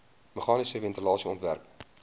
meganiese ventilasie ontwerp